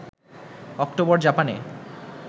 অক্টোবরে জাপানে